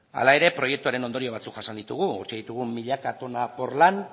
hala ere proiektuaren ondorio batzuk jasan ditugu utzi ditugu milaka tona porlan